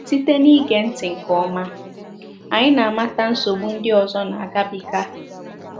Site n’ige ntị nke ọma, anyị na - amata nsogbu ndị ọzọ na-agabiga.